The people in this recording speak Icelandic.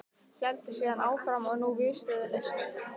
Héldi síðan áfram og nú viðstöðulaust